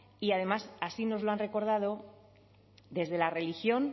y además así nos lo han recordado desde la religión